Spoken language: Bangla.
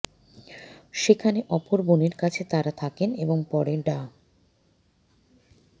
সেখানে অপর বোনের কাছে তারা থাকেন এবং পরে ডা